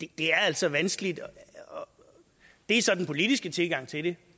det altså vanskeligt det er så den politiske tilgang til det